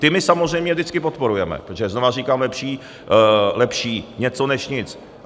Ty my samozřejmě vždycky podporujeme, protože znova říkám, lepší něco než nic.